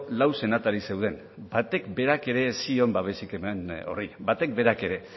lau senatari zeuden batek berak ere ez zion babesik eman horri batek berak ere